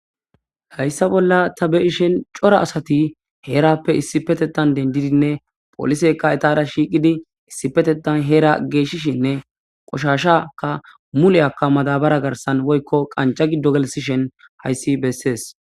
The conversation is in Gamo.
Hayssa bolla ta beishen cora asati heerappe issipetetan dendidinne polisekka etara shiiqidi issipetetan heera geeshshishinne qoshashaka muleyakka madabara garsan woykko qanca gidogalsishen hayssi bessees.